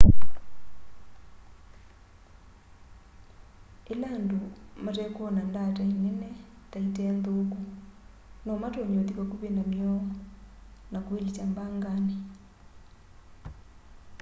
ĩla andũ matekwona ndaatai nene ta ite nthũku nomatonye ũthi vakuvĩ namy'o na kwĩlikya mbanganĩ